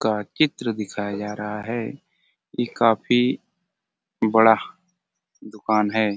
का चित्र दिखाया जा रहा है इ काफी बड़ा दूकान है।